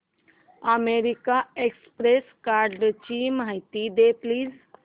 American Express कार्डची माहिती दे प्लीज